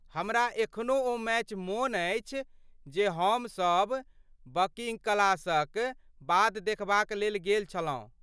हमरा एखनो ओ मैच मोन अछि जे हम सब बंकिंग क्लासक बाद देखबाक लेल गेल छलहुँ।